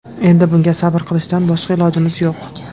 Endi bunga sabr qilishdan boshqa ilojimiz yo‘q.